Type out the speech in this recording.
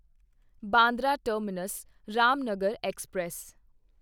Bandra terminus Ramnagar express